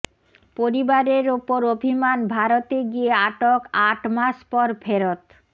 পরিবারের ওপর অভিমান ভারতে গিয়ে আটক আট মাস পর ফেরত